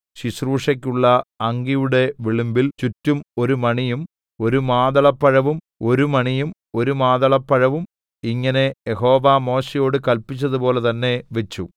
ശുശ്രൂഷയ്ക്കുള്ള അങ്കിയുടെ വിളുമ്പിൽ ചുറ്റും ഒരു മണിയും ഒരു മാതളപ്പഴവും ഒരു മണിയും ഒരു മാതളപ്പഴവും ഇങ്ങനെ യഹോവ മോശെയോട് കല്പിച്ചതുപോലെ തന്നെ വച്ചു